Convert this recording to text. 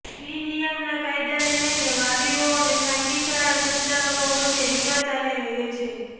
fee નિયમન કાયદાને લઈને વાલીઓ અને ખાનગી શાળા સંચાલકો વચ્ચે વિવાદ ચાલી રહ્યો છે